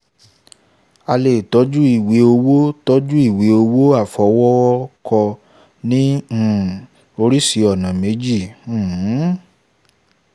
a lè tọ́jú ìwé owó tọ́jú ìwé owó àfọwọ́kọ ní um oríṣii ọ̀nà méjì um um